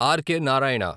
R K. Narayana